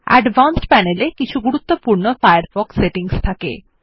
advanced panel এ কিছু গুরুত্বপূর্ণ ফায়ারফক্স সেটিংস থাকে